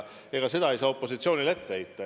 Ega seda ei saa opositsioonile ette heita.